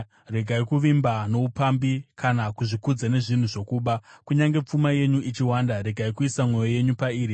Regai kuvimba noupambi kana kuzvikudza nezvinhu zvokuba; kunyange pfuma yenyu ichiwanda, regai kuisa mwoyo yenyu pairi.